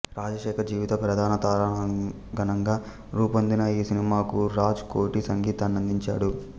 రాజశేఖర్ జీవిత ప్రధాన తారాగణంగా రూపొందిన ఈ సినిమాకు రాజ్ కోటి సంగీతాన్నందించాడు